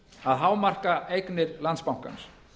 að hámarka eignir landsbankans